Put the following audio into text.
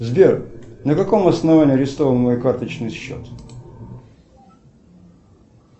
сбер на каком основании арестован мой карточный счет